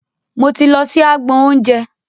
Mo ti lọ sí agbọn oúnjẹ.